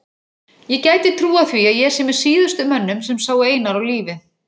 Ég gæti trúað því að ég sé með síðustu mönnum sem sáu Einar á lífi.